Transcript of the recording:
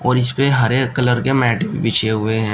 और इसपे हरे कलर के मैट भी बिछे हुए हैं।